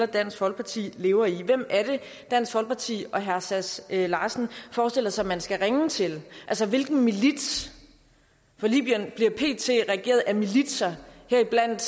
dansk folkeparti lever i hvem er det dansk folkeparti og herre sass larsen forestiller sig man skal ringe til altså hvilken milits for libyen bliver pt regeret af militser heriblandt